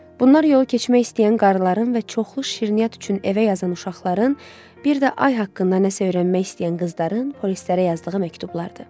Bunlar yolu keçmək istəyən qarıların və çoxlu şirniyyat üçün evə yazan uşaqların, bir də ay haqqında nəsə öyrənmək istəyən qızların polislərə yazdığı məktublardır.